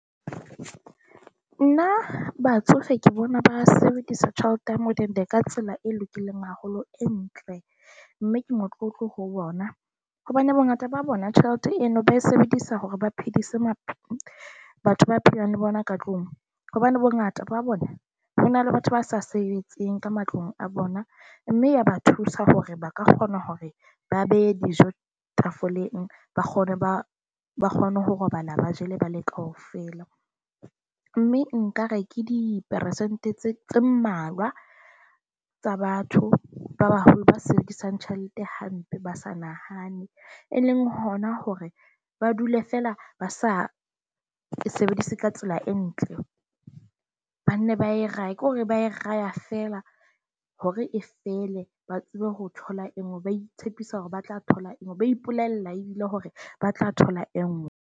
Nna batsofe ke bona ba sebedisa tjhelete ya modende ka tsela e lokileng haholo, e ntle. Mme ke motlotlo ho bona hobane bongata ba bona tjhelete eno ba e sebedisa hore ba phedise batho ba phelang le bona ka tlung hobane bongata ba bona ho na le batho ba sa sebetseng ka matlong a bona. Mme ya ba thusa hore ba ka kgona hore ba behe dijo tafoleng, ba kgone ba ba kgone ho robala ba jele ba le kaofela. Mme nka re ke diperesente tse tse mmalwa tsa batho ba baholo ba sebedisang tjhelete hampe, ba sa nahane, e leng hona hore ba dule fela, ba sa ke sebedise ka tsela e ntle. Ba nne ba e rahe, ke hore ba e raha fela hore e fele ba tsebe ho thola e nngwe, ba itshepisa hore ba tla thola e nngwe, ba ipolella ebile hore ba tla thola e nngwe.